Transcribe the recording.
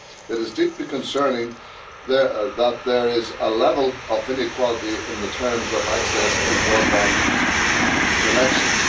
It is deeply concerning that there is a level of inequality in the terms of access to broadband connections.